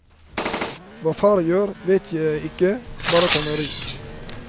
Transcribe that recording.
Hva far gjør, vet jeg ikke, bare at han er rik.